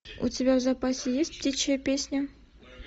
у тебя в запасе есть птичья песня